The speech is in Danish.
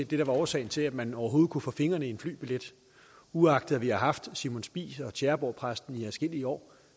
det der var årsagen til at man overhovedet kunne få fingrene i en flybillet uagtet at vi har haft simon spies og tjæreborgpræsten i adskillige år